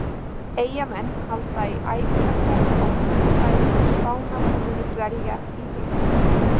Eyjamenn halda í æfingaferð á fimmtudaginn til Spánar og munu dvelja í viku.